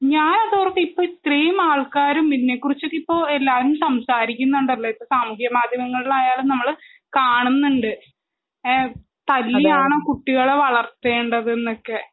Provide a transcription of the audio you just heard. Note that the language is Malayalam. ഇപ്പോൾ ഇത്രയും ആള്ക്കാര് ഇതിനെകുറിച്ചൊക്കെ ഇത്രയും എല്ലാരും സംസാരിക്കുന്നുണ്ടല്ലോ ഇപ്പോൾ സാമൂഹ്യമാധ്യമങ്ങളിൽ ഒക്കെ നമ്മൾ കാണുന്നുണ്ട് തല്ലിയാണോ കുട്ടികളെയൊക്കെ വളർത്തേണ്ടത് എന്നൊക്കെ